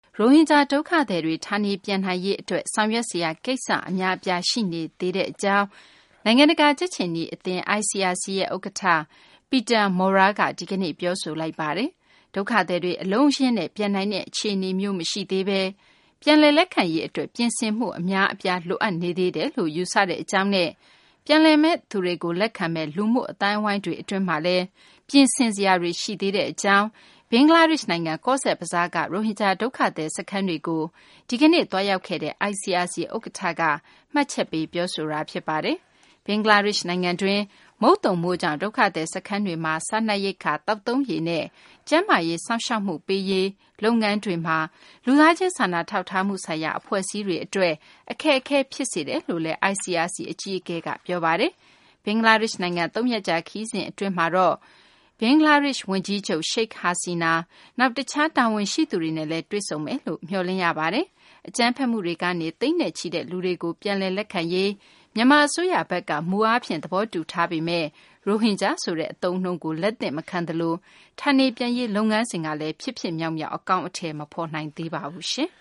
ရိုဟင်ဂျာ ဒုက္ခသည်တွေ ဌာနေပြန်နိုင်ရေး အတွက် ဆောင်ရွက်စရာ ကိစ္စ အများအပြား ရှိနေသေးကြောင်း နိုင်ငံတကာ ကြက်ခြေနီ အသင်း ICRC ဥက္ကဌ Peter Maurer က ဒီကနေ့ ပြောဆိုလိုက်ပါတယ်။ ဒုက္ခသည်တွေ အလုံးအရင်းနဲ့ ပြန်နိုင်တဲ့ အခြေအနေမျိုး မရှိသေးဘဲ ပြန်လည် လက်ခံရေး အတွက် ပြင်ဆင်မှု အများအပြားလိုအပ်နေသေးတယ်လို့ ယူဆတဲ့ အကြောင်းနဲ့ ပြန်လာမယ့်သူတွေကို လက်ခံမယ့် လူမှုအသိုင်းအဝိုင်းတွေ အတွင်းမှာလည်း ပြင်ဆင် ဆောင်ရွက်စရာတွေ ရှိနေသေးကြောင်း ဘင်္ဂလားဒေရှ့်နိုင်ငံ ကောဇ့်ဘဇားက ရိုဟင်ဂျာ ဒုက္ခသည် စခန်းတွေကို ဒီကနေ့ သွာေးရာက်ခဲ့တဲ့ ICRC ဥက္ကဌက အခုလို မှတ်ချက်ပေး ပြောဆိုသွားတာ ဖြစ်ပါတယ်။ ဘင်္ဂလားဒေရှ့် နိုင်ငံတွင်း မုတ်သုံမိုးကြောင့် ဒုက္ခသည် စခန်းတွေ အတွင်း စားနပ်ရိက္ခာ၊ သောက်သုံးရေနဲ့ ကျန်းမာရေး စောင့်ရှောက်မှုတွေ ပေးရေး လုပ်ငန်းတွေမှာ လူသားချင်း စာနာထောက်ထားမှု ဆိုင်ရာ အဖွဲ့အစည်းတွေ အတွက် အခက်အခဲ ဖြစ်စေတယ်လို့လည်း ICRC အကြီးအကဲက ပြောဆိုခဲ့ပါတယ်။ ဘင်္ဂလားဒေရှ့် နိုင်ငံကို သုံးရက်ကြာ ခရီးစဉ် အဖြစ် ရောက်ရှိနေတဲ့ ICRC အကြီးအကဲက ဘင်္ဂလားဒေရှ့် ဝန်ကြီးချုပ် Sheikh Hasian ၊ နောက် တခြား တာဝန်ရှိသူတွေနဲ့လည်း တွေ့ဆုံမယ်လို့မျှော်လင့် ရပါတယ်။ အကြမ်းဖက်မှုတွေကနေ သိန်းနဲ့ချီတဲ့ လူတွေကို ပြန်လည် လက်ခံရေး မြန်မာ အစိုးရဘက်က မူအားဖြင့် သဘောတူထားပေမယ့် ရိုဟင်ဂျာ ဆိုတဲ့ အသုံးအနှုန်းကို လက်သင့်မခံသလို ဌာနေပြန်ရေး လုပ်ငန်းစဉ်ကလည်း ဖြစ်ဖြစ်မြောက်မြောက် အကောင်အထည် မဖော်နိုင်သေးပါဘူး။